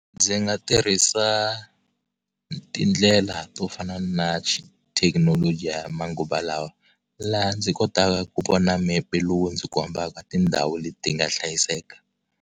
Ndzi nga tirhisa tindlela to fana na xithekinoloji ya manguva lawa laha ndzi kotaka ku vona mepe lowu ndzi kombaka tindhawu leti nga hlayiseka.